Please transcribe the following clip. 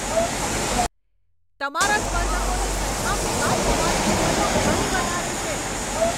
તમારા સ્પર્ધકોની સરખામણીમાં તમારી કિંમતો ઘણી વધારે છે.